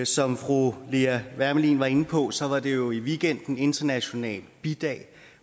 som fru lea wermelin var inde på så var det jo i weekenden international bidag